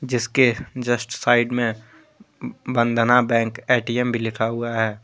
इसके just side मे Vandana bank ATM भी लिखा हुआ है।